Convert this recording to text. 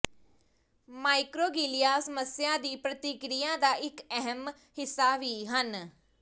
microglia ਸਮੱਸਿਆ ਦੀ ਪ੍ਰਤੀਕਿਰਿਆ ਦਾ ਇਕ ਅਹਿਮ ਹਿੱਸਾ ਵੀ ਹਨ